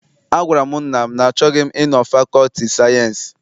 Agwara m nna m na achọghị m ịnọ na fakọlti sayensị.